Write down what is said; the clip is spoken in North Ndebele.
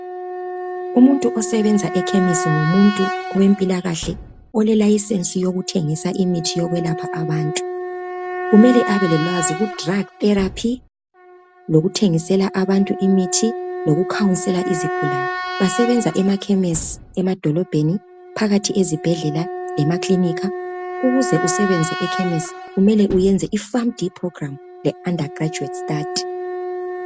umuntu osebenza ekhemisi ngumuntu wempilakahle ole license yokuthengisa imithi yokwelapha abantu kumele abe lolwazi ku drug therapy lokuthegisela abantu imithi loku counselor izigulane basenza emakhemesi emadolobheni phakathi ezibhedlela lemakilinika ukuze usebenze ekhemesi kumele uyenze i fun d program le undergraduate study